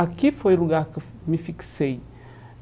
Aqui foi o lugar que eu me fixei.